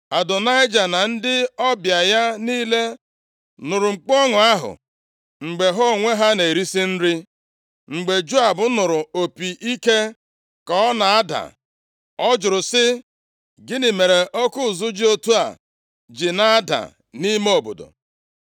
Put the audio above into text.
Adonaịja na ndị ọbịa ya niile nụrụ mkpu ọṅụ ahụ mgbe ha onwe ha na-erisi nri. Mgbe Joab nụrụ opi ike ka ọ na-ada, ọ jụrụ sị, “Gịnị mere oke ụzụ dị otu a ji na-ada nʼime obodo.”